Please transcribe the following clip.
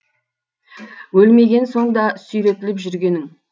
өлмеген соң да сүйретіліп жүргенің